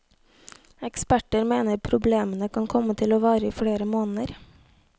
Eksperter mener problemene kan komme til å vare i flere måneder.